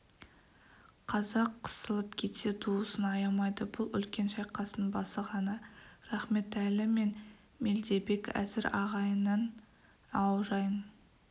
қазақ қысылып кетсе туысын аямайды бұл үлкен шайқастың басы ғана рахметәлі мен мелдебек әзір ағайынның аужайын